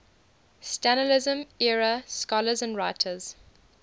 stalinism era scholars and writers